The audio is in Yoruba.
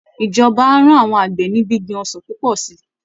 Ìjọba á ran àwọn àgbẹ̀ ní gbíngbin ọsàn púpọ̀ sí i